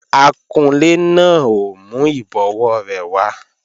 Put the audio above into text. Akunlé náà ò mú ìbọwó rẹ̀ wá